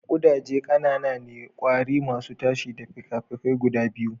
Kudaje ƙanana ne, ƙwari masu tashi da fikafikai guda biyu.